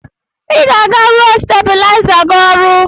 I ga-eje rụọ stabuliza gị ọrụ!!